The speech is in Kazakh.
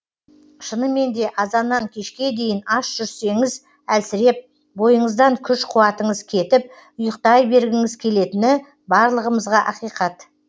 шынымен де азаннан кешке дейін аш жүрсеңіз әлсіреп бойыныздан күш қуатыныз кетіп ұйықтай бергіңіз келетіні барлығымызға ақиқат